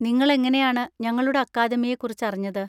നിങ്ങളെങ്ങനെയാണ് ഞങ്ങളുടെ അക്കാദമിയെ കുറിച്ച് അറിഞ്ഞത്?